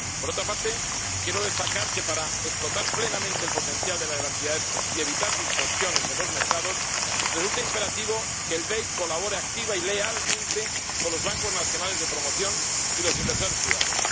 Por otra parte, quiero destacar que, para explotar plenamente el potencial de la Garantía del FEIE y evitar distorsiones en los mercados, resulta imperativo que el BEI colabore activa y lealmente con los bancos nacionales de promoción y los inversores privados.